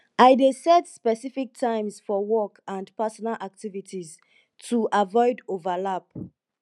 i dey set specific times for work and personal activities to avoid overlap